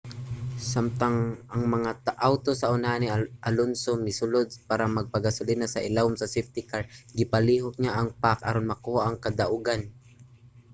samtang ang mga awto sa unahan ni alonso misulod para magpagasolina sa ilawom sa safety car gipalihok niya ang pack aron makuha ang kadaugan